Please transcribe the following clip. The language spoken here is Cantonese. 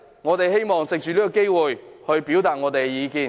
我們希望藉着今天這個機會，表達我們的意見。